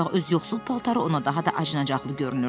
Ancaq öz yoxsul paltarı ona daha da acınaqlı görünürdü.